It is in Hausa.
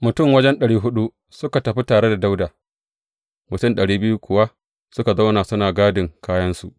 Mutum wajen ɗari huɗu suka tafi tare da Dawuda, mutum ɗari biyu kuwa suka zauna suna gadin kayansu.